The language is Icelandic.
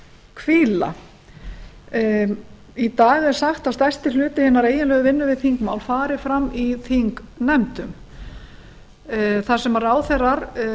hvíla í dag er sagt að stærsti hluti hinnar eiginlegu vinnu við þingmál fari fram í þingnefndum þar sem ráðherrar